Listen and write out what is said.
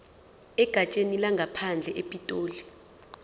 egatsheni lezangaphandle epitoli